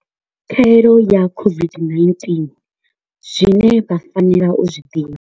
Khaelo ya COVID-19 zwine vha fanela u zwi ḓivha.